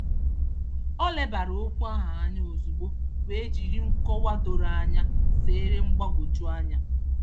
O lebara okwu ahụ anya ozugbo wee jiri nkọwa doro anya zeere mgbagwojuanya.